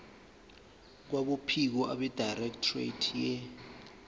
kwabophiko abedirectorate ye